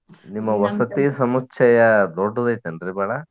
ನಿಮ್ಮ ವಸತಿ ಸಮುಚ್ಚಯ ದೊಡ್ಡದೈತೇನ್ರೀ ಬಾಳ?